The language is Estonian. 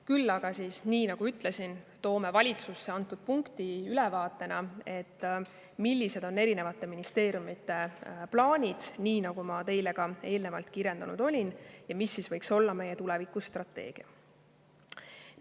Küll aga, nii nagu ma ütlesin, me viime valitsusse antud punkti ülevaatena, millised on erinevate ministeeriumite plaanid, nii nagu ma teile ka kirjeldasin, ja mis võiks olla meie tulevikustrateegia.